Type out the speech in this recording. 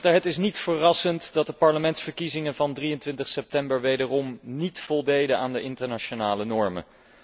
Het is niet verrassend dat de parlementsverkiezingen van 23 september wederom niet voldeden aan de internationale normen.